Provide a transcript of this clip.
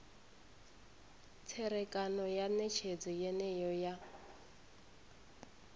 tserekano ya netshedzo yeneyo ya